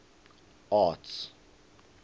arts